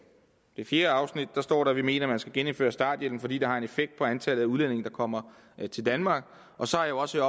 fjerde afsnit står der at vi mener at man skal genindføre starthjælpen fordi det har en effekt på antallet af udlændinge der kommer til danmark og så har jeg også